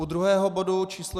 U druhého bodu číslo